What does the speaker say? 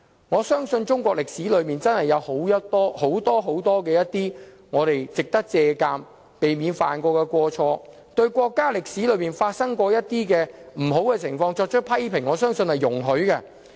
我相信中國歷史上，有很多值得我們借鑒及避免犯上的過錯，對國家歷史上發生的不良情況作出批評，我相信是容許的。